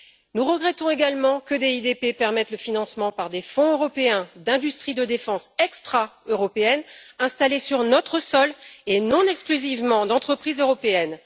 Nous regrettons également que le programme DIDP permette le financement par des fonds européens, d'industries de défense extra européennes installées sur notre sol et non exclusivement d'entreprises européennes.